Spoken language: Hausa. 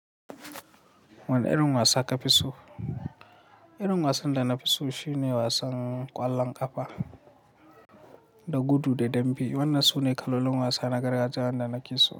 Wane irin wasa ka fi so? Irin wasan da na fi so shine wasan ƙwallon ƙafa da gudu da dambe. Wannan sune kalolin wasa na gargajiya wanda nake so.